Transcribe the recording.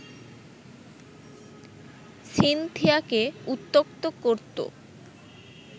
সিনথিয়াকে উত্ত্যক্ত করতো